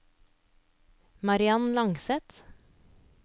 Mariann Langseth